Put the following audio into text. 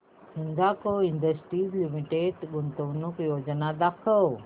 Hindalco industries limited गुंतवणूक योजना दाखव